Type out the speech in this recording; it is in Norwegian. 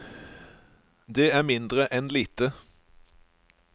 Det er mindre enn lite.